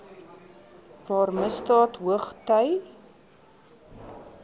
waar misdaad hoogty